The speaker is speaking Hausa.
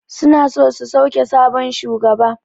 Suna so su sauke sabon shugaba.